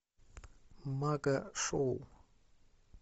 мага шоу